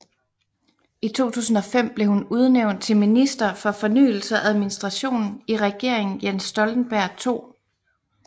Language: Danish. I 2005 blev hun udnævnt til Minister for Fornyelse og Administration i Regeringen Jens Stoltenberg II